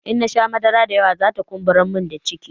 In nasha madara da yawa zata kumburamin ciki